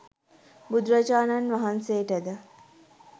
බුදුරජාණන් වහන්සේට ද